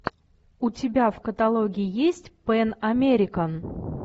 у тебя в каталоге есть пэн американ